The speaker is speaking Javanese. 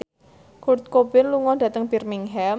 Kurt Cobain lunga dhateng Birmingham